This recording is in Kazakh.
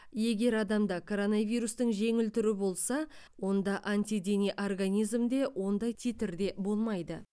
егер адамда коронавирустың жеңіл түрі болса онда антидене организмде ондай титрде болмайды